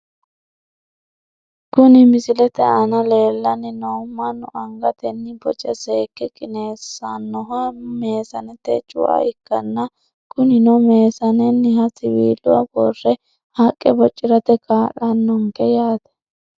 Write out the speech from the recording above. Kuni misilete aana leellanni noohu mannu angatenni boce saakke qineessannoha meesanete cua ikkanna, kunino meesanenniha siwiila worre haqqe bocirate kaa'lannonke yaate.